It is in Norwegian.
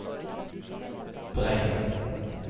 Breim